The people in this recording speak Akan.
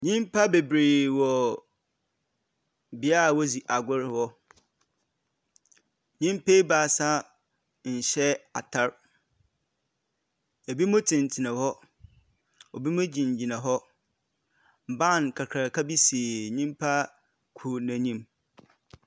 Nyimpa bebree wɔ bea a wodzi agor wɔ. Nyimpa ebaasa nhyɛ atar. Binom tenatena hɔ. Ebinom gyinagyina hɔ. Ban kakraka bi si nyimpa kor n'enyim.